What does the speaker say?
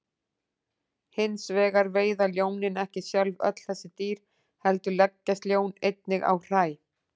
Hins vegar veiða ljónin ekki sjálf öll þessi dýr heldur leggjast ljón einnig á hræ.